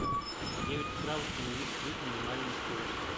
в девять утра установи сплит минимальную скорость